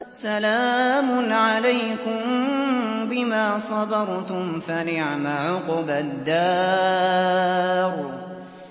سَلَامٌ عَلَيْكُم بِمَا صَبَرْتُمْ ۚ فَنِعْمَ عُقْبَى الدَّارِ